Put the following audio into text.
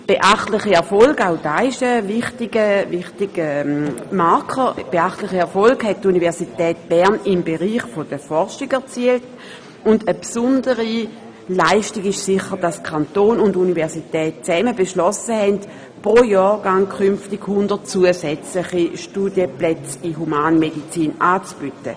Beachtliche Erfolge – auch das ist ein wichtiger Marker – hat die Universität Bern im Bereich der Forschung erzielt, und eine besondere Leistung ist sicher auch, dass Kanton und Universität zusammen beschlossen haben, pro Jahrgang künftig 100 zusätzliche Studienplätze in Humanmedizin anzubieten.